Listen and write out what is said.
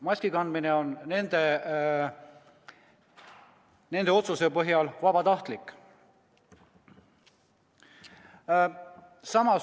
Maski kandmine on nende otsuse põhjal vabatahtlik.